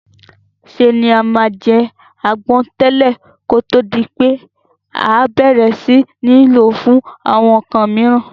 Se ni a ma n je àgbon tẹ̀lẹ́ kótó di pé a bẹ̀rẹ̀ si ni lo fún àwon nkan miran